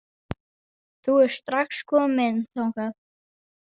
Þú ert strax kominn þangað?